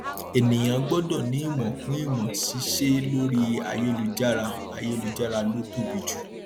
ènìyàn gbọdọ ní ìmọ kún ìmọ ṣíṣe lórí ayélujára ayélujára ló tóbi jù